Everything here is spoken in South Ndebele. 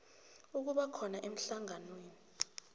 ukuba khona emhlanganweni